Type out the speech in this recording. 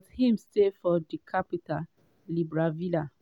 but im stay for di capital libreville.